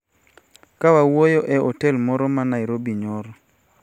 Ka wawuoyo e otel moro ma Nairobi nyoro,